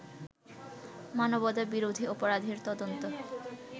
মানবতাবিরোধী অপরাধের তদন্ত